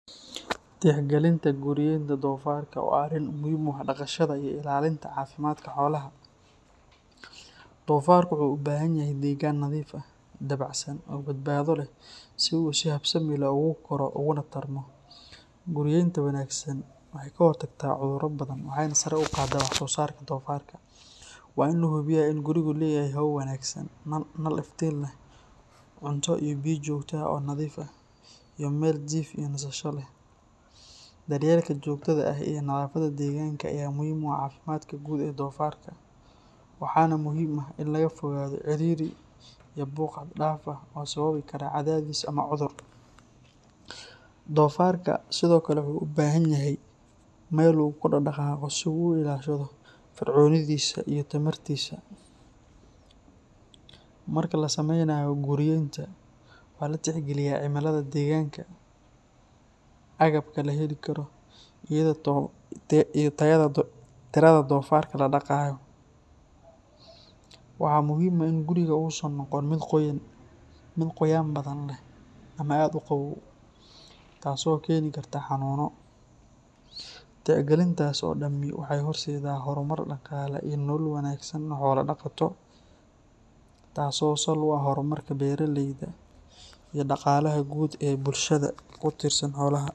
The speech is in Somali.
Tixgelinta guryeynta dofarka waa arrin muhiim u ah dhaqashada iyo ilaalinta caafimaadka xoolaha. Dofarku wuxuu u baahan yahay deegaan nadiif ah, dabacsan, oo badbaado leh si uu si habsami leh ugu koro uguna tarmo. Guryeynta wanaagsan waxay ka hortagtaa cudurro badan waxayna sare u qaaddaa wax-soosaarka dofarka. Waa in la hubiyaa in gurigu leeyahay hawo wanaagsan, nal iftiin leh, cunto iyo biyo joogto ah oo nadiif ah, iyo meel jiif iyo nasasho leh. Daryeelka joogtada ah iyo nadaafadda deegaanka ayaa muhiim u ah caafimaadka guud ee dofarka, waxaana muhiim ah in laga fogaado ciriiri iyo buuq xad dhaaf ah oo sababi kara cadaadis ama cudur. Dofarka sidoo kale wuxuu u baahan yahay meel uu ku dhaqdhaqaaqo si uu u ilaashado firfircoonidiisa iyo tamartiisa. Marka la sameynayo guryeynta, waxaa la tixgeliyaa cimilada deegaanka, agabka la heli karo, iyo tirada dofarka la dhaqayo. Waxaa muhiim ah in gurigu uusan noqon mid qoyaan badan leh ama aad u qabow, taasoo keeni karta xanuunno. Tixgelintaas oo dhammi waxay horseeddaa horumar dhaqaale iyo nolol wanaagsan oo xoolo-dhaqato, taasoo sal u ah horumarka beeralayda iyo dhaqaalaha guud ee bulshada ku tiirsan xoolaha.